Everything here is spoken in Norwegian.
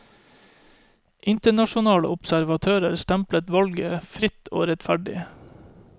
Internasjonale observatører stemplet valget som fritt og rettferdig.